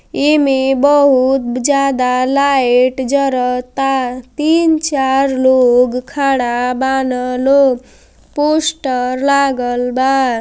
एमे बहुत ब् जादा लाएट जर ता तीन चार लोग खड़ा बान लो। पोस्टर लागल बा।